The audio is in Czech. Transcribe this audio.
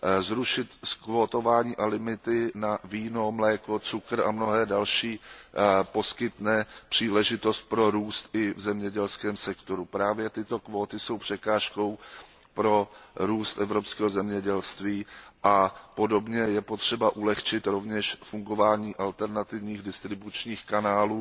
Zrušení kvót a limitů na víno, mléko, cukr a další poskytne příležitost pro růst i v zemědělském sektoru. Právě tyto kvóty jsou překážkou pro růst evropského zemědělství a podobně je rovněž potřeba usnadnit fungování alternativních distribučních kanálů,